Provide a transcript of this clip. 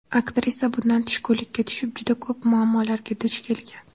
Aktrisa bundan tushkunlikka tushib, juda ko‘p muammolarga duch kelgan.